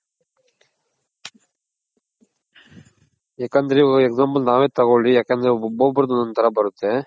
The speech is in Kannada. ಯಾಕಂದ್ರೆ ಇವಾಗ example ನಾವೇ ತಗೋಳಿ ಯಾಕಂದ್ರೆ ಒಬೊಬ್ರ್ದ್ ಒಂದೋದ್ ತರ ಬರುತ್ತೆ.